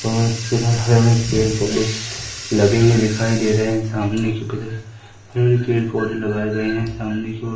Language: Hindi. पेड़-पौधे लगे हुए दिखाई दे रहे है। सामने की ओर पेड़-पौधे लगाए गए है सामने की ओर।